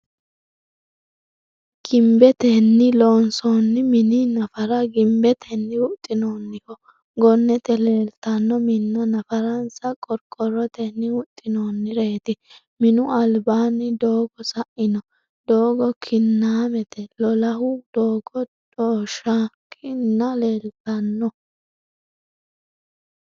Ginbetenni loonsoonni mini nafara ginbetenni huxxinoonniho gonnete leeltanno Minna nafarransa qorqorrotenni huxxinoonnireeti. Minu albaanni doogo saino doogo kinnaamete lolahu dooga dhoshookka ni leeltanno.